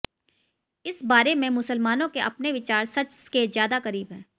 इस बारे में मुसलमानों के अपने विचार सच के ज्यादा करीब हैं